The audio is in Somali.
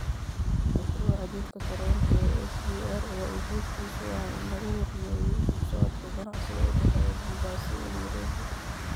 Mashruuca jidka tareenka ee SGR ayaa ujeedkiisu ahaa in lagu horumariyo isu socodka iyo ganacsiga u dhexeeya Mombasa iyo Nairobi.